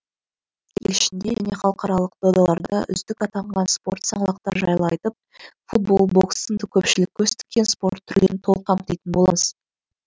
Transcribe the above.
ел ішінде не халықаралық додаларда үздік атанған спорт саңлақтары жайлы айтып футбол бокс сынды көпшілік көз тіккен спорт түрлерін толық қамтитын боламыз